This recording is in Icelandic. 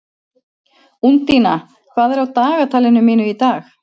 Úndína, hvað er á dagatalinu mínu í dag?